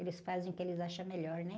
Eles fazem o que eles acham melhor, né?